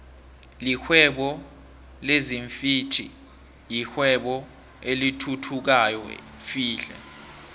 lihwebo lezinfhvthi yirwebo elithuthukayo flhe